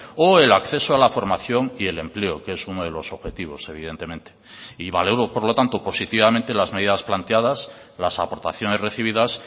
o el acceso a la formación y el empleo que es uno de los objetivos evidentemente y valoro por lo tanto positivamente las medidas planteadas las aportaciones recibidas